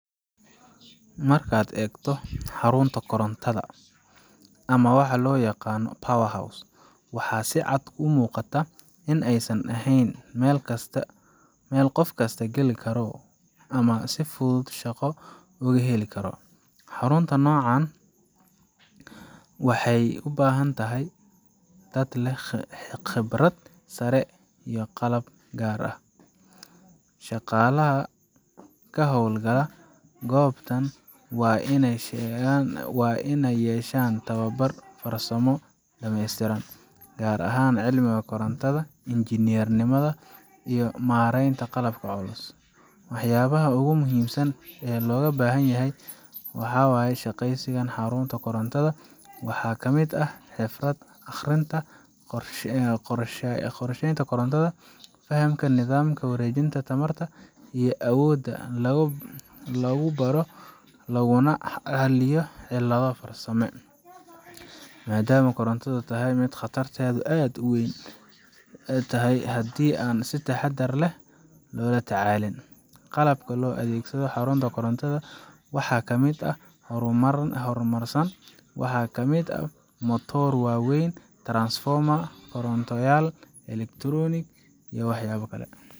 Marka aad eegto xarunta korontada ama waxa loo yaqaan power house waxa si cad u muuqata in aysan ahayn meel kasta qof geli karo ama si fudud shaqo uga heli karo. Xarunta noocan ah waxay u baahan tahay dad leh khibrad sare iyo qalab gaar ah. Shaqaalaha ka howlgala goobtan waa inay yeeshaan tababar farsamo oo dhameystiran, gaar ahaan cilmiga korontada, injineernimada, iyo maaraynta qalabka culus. Waxyaabaha ugu muhiimsan ee looga baahan yahay qof ka shaqeynaya xarun koronto waxaa ka mid ah: xirfadda akhrinta qorshaynta koronto, fahamka nidaamka wareejinta tamarta, iyo awoodda lagu baadho laguna xaliyo cilado farsame. maadaama korontadu tahay mid khatarteedu aad u weyn tahay haddii aan si taxaddar leh loola tacaalin. Qalabka loo adeegsado xarunta koronto waa mid aad u horumarsan: waxaa ka mid ah matoorro waaweyn, transformers, kontaroolayaal elah, iyo ectronic iyo waxyaabo kale.